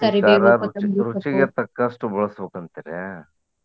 ರುಚಿಗೆ ತಕ್ಕಷ್ಟು ಬಳಸ್ಬೇಕು ಅಂತಿರ್ಯಾ?